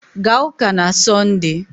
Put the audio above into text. Gaa ụ́kà na Sọnde!